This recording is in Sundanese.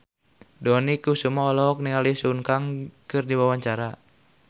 Dony Kesuma olohok ningali Sun Kang keur diwawancara